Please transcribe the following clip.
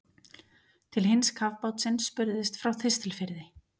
Til hins kafbátsins spurðist frá Þistilfirði.